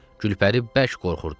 Gülpəri bərk qorxurdu.